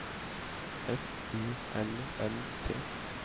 F U L L T